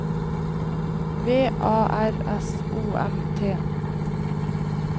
V A R S O M T